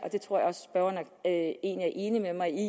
enig med mig i